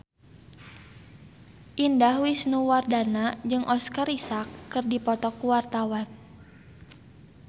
Indah Wisnuwardana jeung Oscar Isaac keur dipoto ku wartawan